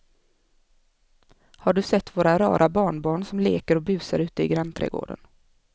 Har du sett våra rara barnbarn som leker och busar ute i grannträdgården!